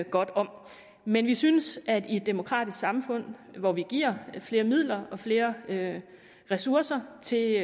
godt om men vi synes at i et demokratisk samfund hvor vi giver flere midler og flere ressourcer til